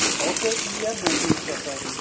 software ਕਿ ਏ ਮਹਿਸੂਸ ਕਰ ਸਕਦੇ ਹਾਂ